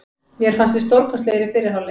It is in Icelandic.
Mér fannst við stórkostlegir í fyrri hálfleik.